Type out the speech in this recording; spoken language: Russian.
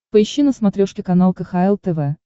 поищи на смотрешке канал кхл тв